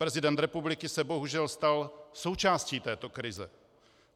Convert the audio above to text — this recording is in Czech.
Prezident republiky se bohužel stal součástí této krize.